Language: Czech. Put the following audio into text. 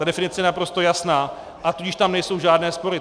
Ta definice je naprosto jasná, a tudíž tam nejsou žádné spory.